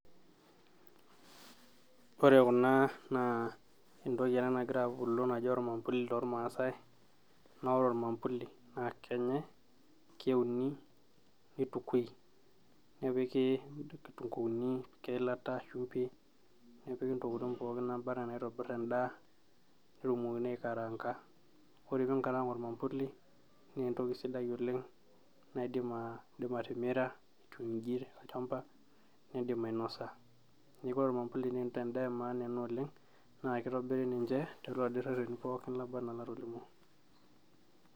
ore kuna naa entoki ena nagira abulu naji ormambuli tormaasae naa ore ormambuli naa kenyae, keuni nitukui nepiki inkitunguuni ,nepiki eilata, shumbi nepiki intokitin pookin naaba enaa naitobirr endaa peetumokini aikaraanga, ore piinkarang ormambuli naa entoki sidai oleng naaidim indim atimira etiu inji tolchamba nindim ainosa neeku ore ormambuli naa endaa e maana oleng naa kitobiri ninche tooladii rreteni pookin laba anaa latolimuo.